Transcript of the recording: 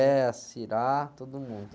É, a, todo mundo.